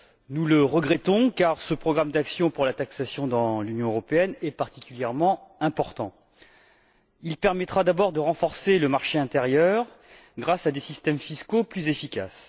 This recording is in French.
Nous le regrettons, car ce programme d'action pour la taxation dans l'Union européenne est particulièrement important. Il permettra d'abord de renforcer le marché intérieur grâce à des systèmes fiscaux plus efficaces.